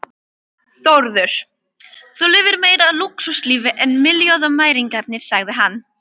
Þórður: Þú lifir meira lúxuslífi en milljónamæringar sagði